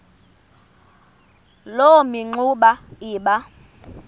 loo mingxuma iba